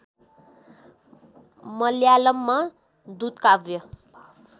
मलयालममा दूतकाव्य